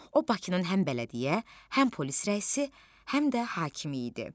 O Bakının həm bələdiyyə, həm polis rəisi, həm də hakimi idi.